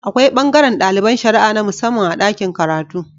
Akwai bangaran daliban shara'a na musamman a dakin karatu